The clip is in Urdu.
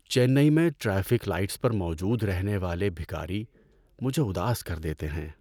چنئی میں ٹریفک لائٹس پر موجود رہنے والے بھکاری مجھے اداس کر دیتے ہیں۔